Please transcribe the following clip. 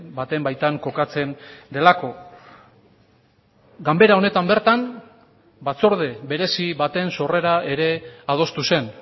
baten baitan kokatzen delako ganbera honetan bertan batzorde berezi baten sorrera ere adostu zen